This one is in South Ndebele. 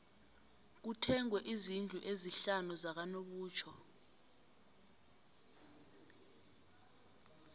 kuthengwe izndlu ezisihlanu zakanobutjho